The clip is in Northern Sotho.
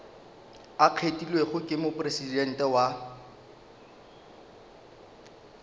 a kgethilwego ke mopresidente wa